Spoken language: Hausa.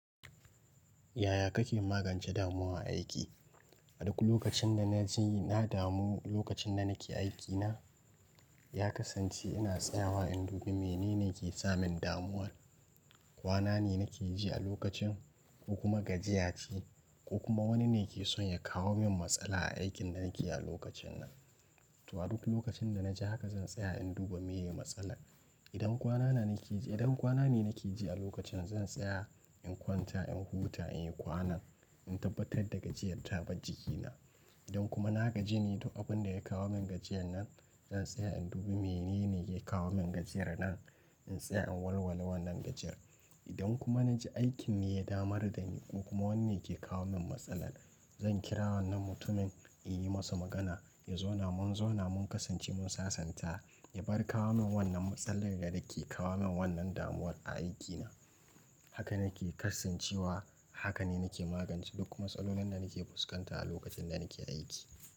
Yaya kake magance damuwan aiki? A duk lokacin da na ji na damu lokacin da nake aikina, ya kasance ina tsayawa in duba menene ke samin damuwar. Kwana ne nake ji a lokacin ko kuma gajiya ce ko kuma wani ne ke so ya kawo min matsala a aikin da nake yi a lokacin nan. To a duk lokacin da na ji haka zan tsaya in duba me yake matsala. Idan kwana na nake ji, idan kwana ne nake ji a lokacin zan tsaya in kwanta in huta in yi kwanan, in tabbatar da gajiyar ta bar jikina. Idan kuma na gaji ne, to abin da ya kawo min gajiyar nan zan tsaya in duba menene yake kawo min gajiyar nan. In tsaya in walwala wannan gajiyar. Idan kuma na ji aikin ne ya damari da ni ko kuma wani ne ke kawo min matsala, zan kira wannan mutumin in yi masa magana, ya zo namu zo na mun kasance mun sasanta. Ya bar kawo min wannan matsalar da yake kawo min wannan damuwar a aikina. Haka nake karsancewa, haka ne nake magance duk matsalolin da nake fuskanta a lokacin da nake aiki.